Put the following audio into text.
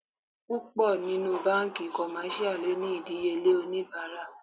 Púpọ̀ nínú banki commercial lónìí idiyele onibara.